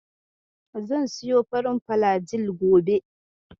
Zan siyo farin filajil gobe.